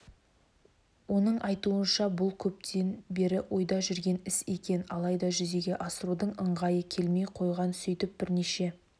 оның айтуынша бұлкөптен бері ойда жүрген іс екен алайда жүзеге асырудың ыңғайы келмей қойған сөйтіп бірнеше